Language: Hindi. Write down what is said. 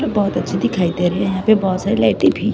बहोत अच्छी दिखाई दे रहे हैं यहां पे बहोत सारी लाइटें भी--